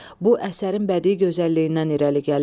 Bu əsərin bədii gözəlliyindən irəli gəlir.